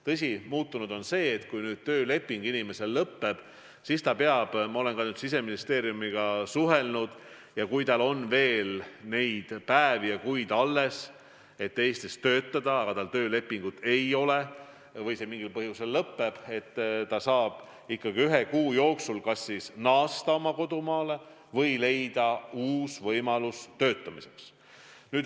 Tõsi, muutunud on see, et kui nüüd tööleping inimesel lõpeb, siis ta peab – ma olen ka Siseministeeriumiga suhelnud –, kui tal on veel alles neid päevi ja kuid, et võib Eestis töötada, ikkagi ühe kuu jooksul kas naasma oma kodumaale või leidma uue võimaluse töötamiseks.